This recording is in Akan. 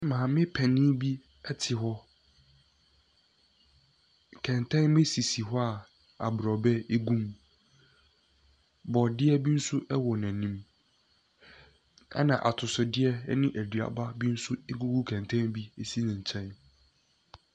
Maame panin bi te hɔ. Nkɛntɛn sisi hɔ a aborɔbɛ gum. Borɔdeɛ bi nso wɔ n'anim, ɛnna atosodeɛ ne aduaba bi nso gugu kɛntɛn bi ɛsi ne nkyɛn.